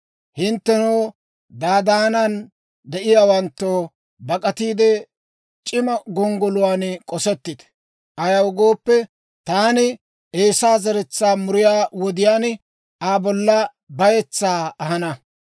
Hinttenoo, Dadaanan de'iyaawanttoo, bak'atiide c'iimma gonggoluwaan k'osettite! Ayaw gooppe, taani Eesaa zeretsaa muriyaa wodiyaan, Aa bolla bayetsaa ahana.